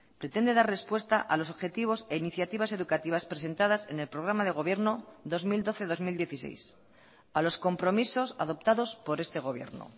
pretende dar respuesta a los objetivos e iniciativas educativas presentadas en el programa de gobierno dos mil doce dos mil dieciséis a los compromisos adoptados por este gobierno